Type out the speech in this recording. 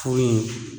Furu in